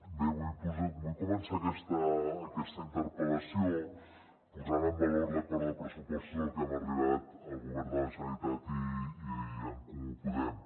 bé vull començar aquesta interpel·lació posant en valor l’acord de pressupostos al que hem arribat el govern de la generalitat i en comú podem